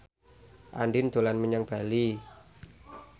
Andien dolan menyang Bali